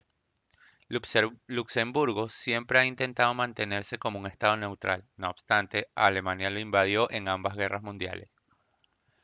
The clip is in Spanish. luxemburgo siempre ha intentado mantenerse como un estado neutral no obstante alemania lo invadió en ambas guerras mundiales